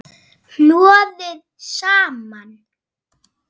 Hnoðið saman.